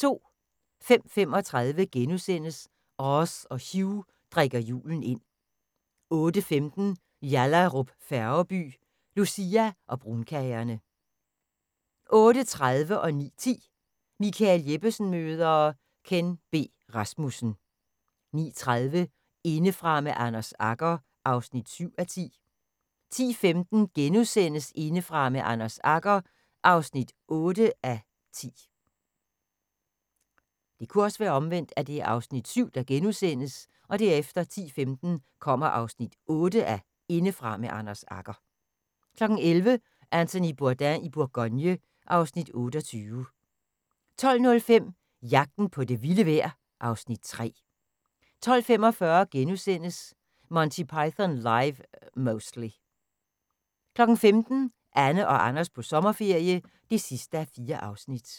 05:35: Oz og Hugh drikker julen ind * 08:15: Yallahrup Færgeby: Lucia og brunkagerne 08:30: Michael Jeppesen møder... Ken B. Rasmussen 09:10: Michael Jeppesen møder ... Ken B. Rasmussen 09:30: Indefra med Anders Agger (7:10) 10:15: Indefra med Anders Agger (8:10)* 11:00: Anthony Bourdain i Bourgogne (Afs. 28) 12:05: Jagten på det vilde vejr (Afs. 3) 12:45: Monty Python Live (Mostly) * 15:00: Anne og Anders på sommerferie (4:4)